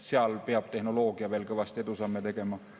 Seal peab tehnoloogia veel kõvasti edusamme tegema.